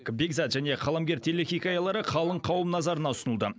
бекзат және қаламгер телехикаялары қалың қауым назарына ұсынылды